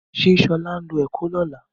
Ṣe Ṣọlá ńlọ Èkó ni ọ̀la?